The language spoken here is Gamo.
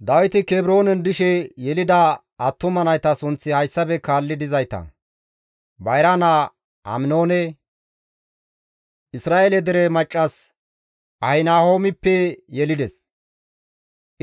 Dawiti Kebroonen dishe yelida attuma nayta sunththi hayssafe kaalli dizayta; bayra naa Aminoone Izra7eele dere maccas Ahinahoomppe yelides;